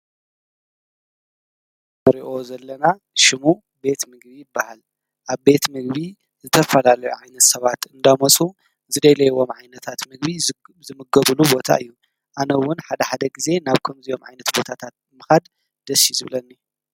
ምርኦ ዘለና ሽሙ ቤት ምግቢ በሃል ኣብ ቤት ምግቢ ዝተፋላለ ዓይነት ሰባት እንዳሞሱ ዝደይለይዎም ዓይነታት ምግቢ ዝምገብሉ ቦታ እዩ ኣነውን ሓደ ሓደ ጊዜ ናብ ከምዚዮም ዓይነት ቦታታት ምኻድ ደስይዙብለኒ።